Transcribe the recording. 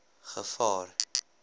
gevaar